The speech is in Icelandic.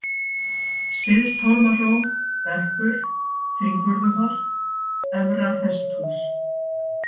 Syðsthólmahró, Bekkur, Þrívörðuholt, Efra-Hesthús